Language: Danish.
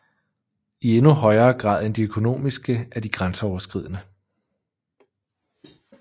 I endnu højere grad end de økonomiske er de grænseoverskridende